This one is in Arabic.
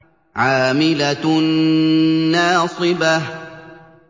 عَامِلَةٌ نَّاصِبَةٌ